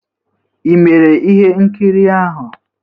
Ị mere ihe nkiri ahụ?